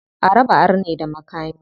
A raba arne da makami.